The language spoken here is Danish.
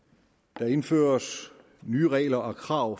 der indføres nye regler og krav